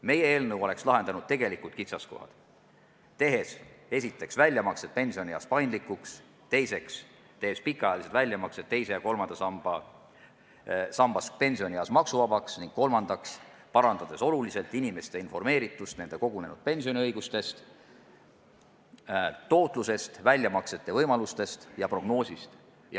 Meie eelnõu oleks lahendanud tegelikud kitsaskohad: esiteks, tehes väljamaksed pensionieas paindlikuks; teiseks, tehes pikaajalised väljamaksed teisest ja kolmandast sambast pensionieas maksuvabaks; ning kolmandaks, parandades oluliselt inimeste informeeritust nende kogunenud pensioni tootlusest, väljamaksete võimalustest ja prognoosist.